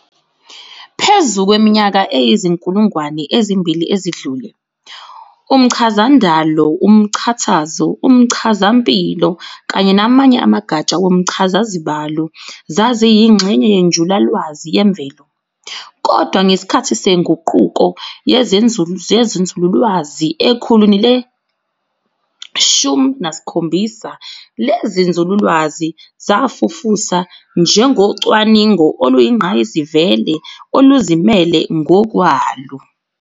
Phezu kweminyaka eyizinkulungwane ezimbili ezidlule, umchazandalo, umchazatho, umchazampilo, kanye namanye amagatsha womchazazibalo zaziyingxenye yenjulalwazi yemvelo, kodwa ngesikhathi seNguquko yezenzululwazi ekhulwini le-17 lezinzululwazi zafufusa njengocwaningo oluyingqayizivele oluzimele ngokwalo.